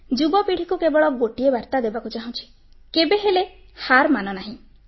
ଯୁବପିଢ଼ିକୁ କେବଳ ଗୋଟିଏ ବାର୍ତ୍ତା ଦେବାକୁ ଚାହୁଁଛି କେବେହେଲେ ହାର ମାନନାହିଁ